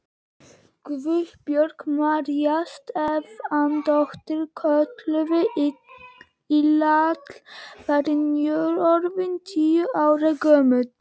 Guðbjörg María Stefánsdóttir, kölluð Lilla, var nýorðin tíu ára gömul.